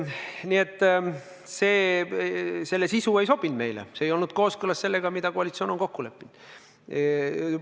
Aga jah, selle sisu ei sobinud meile, see ei olnud kooskõlas sellega, mida koalitsioon on kokku leppinud.